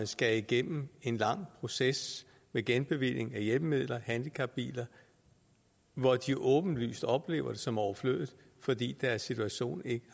skal igennem en lang proces med genbevilling af hjælpemidler handicapbiler hvor de åbenlyst oplever det som overflødigt fordi deres situation ikke